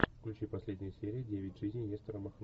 включи последние серии девять жизней нестора махно